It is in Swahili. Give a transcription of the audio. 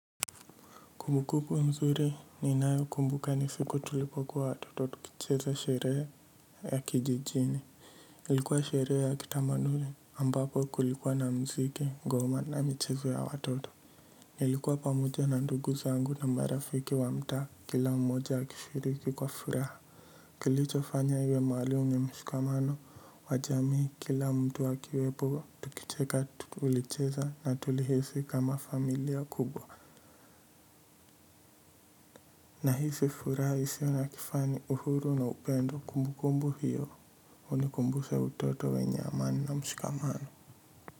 Kumbukumbu nzuri ninayokumbuka ni siku tulipokuwa watoto tukicheza sherehe ya kijijini ilikuwa sherehe ya kitamaduni ambapo kulikuwa na mziki ngoma na michezo ya watoto ilikuwa pamoja na ndugu zangu na marafiki wa mtaa kila mmoja ya akishiriki kwa furaha kilicho fanya iwe maalum mshikamano wa jamii kila mtu akiwepo tukicheka tulicheza na tulihisi kama familia kubwa nahisi furaha isiyo na kifani uhuru na upendo kumbukumbu hiyo unikumbusha utoto wenye amani na mshikamano.